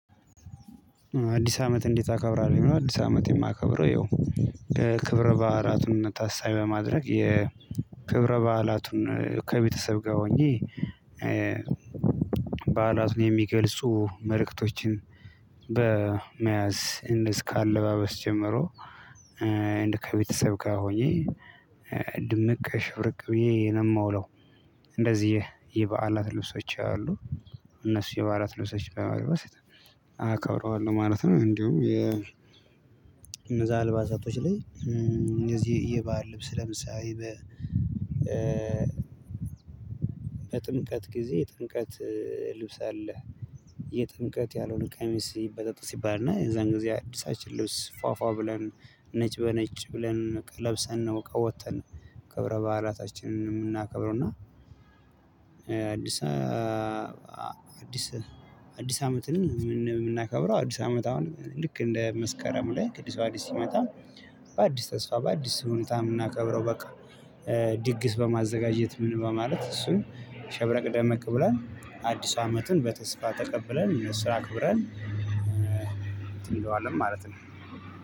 "አዲስ አመት እንዴት ታከብራለሁ?" የሚለው፤ አዲስ አመት የማከብረው ያው ከክብረ በዓላቱን ታሳቢ በማድረግ የክብረ በዓላቱን ከቤተሰብ ጋር ሆኜ በዓላቱን የሚገልጹ መልእክቶችን በመያዝ እንደዚህ ከአለባበስ ጀመሮ እንደ ከቤተሰብ ጋር ሆኜ ድምቅ ሽብርቅ ብዬ ነው የምውለው። እንደዚህ የበዓላት ልብሶች አሉ። እነሱ የበዓላት ልብሶች በመልበስ አከብረዋለሁ ማለት ነው። እንዲሁ የ እነዛ አልባሳቶች ላይ እንደዚህ የበአል ልብስ ለምሳሌ በ በጥምቀት ጊዜ የጥምቀት ልብስ አለ። የጥምቀት ያልሆነ ቀሚስ ይበጣጠስ ይባላልና የዛን ጊዜ አዲሳችን ልብስ ፏፏ ብለን ነጭ በነጭ ብለን ለብሰን ነው ወጥተን ከብረ በዓላታችንን የምናከብረው እና አዲስ አዲስ አዲስ አመትን የምና የምናከብረው አዲስ አመት አሁን ልክ እንደ መስከረም ላይ ቅዱስ አዲስ ሲመጣ በአዲስ ተስፋ በአዲስ ስሁንታ የምናከብረው በቃ ድግስ በማዘጋጀት ምን በማለት እሱን ሸብረቅ ደመቅ ብላን አዲሱ አመትን በተስፋ ተቀብለን ስራ አክብረን እንትን እንለዋለን ማለት ነው።